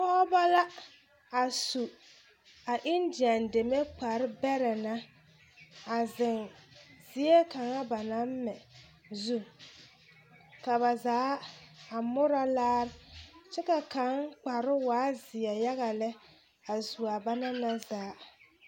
Pɔɔbɔ la a su a Indian deme kpare bɛrɛ na a zeŋ zie kaŋa ba naŋ mɛ zu ka ba zaa a murɔ laare kyɛ ka kaŋ kparoo waa zeɛ yaga lɛ a zuaa ba naŋ na zaa.